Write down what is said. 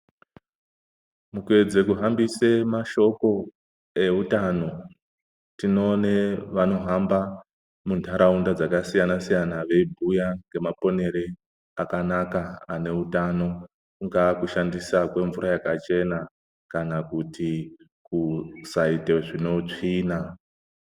Mukuedze kuhambisa mashoko eutano tinoone vanohamba munyaraunda dzakasiyana-siyana, veibhuya nemaponere akanaka ineutano. Kungaa kushandisa kwemvura yakachena kana kuti kusaite zvine utsvina.